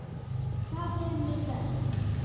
Þar leið mér best.